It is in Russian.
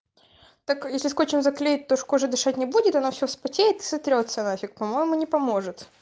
так если скотчем заклеить то ж кожа дышать не будет она вся вспотеет и сотрётся нафиг по-моему не поможет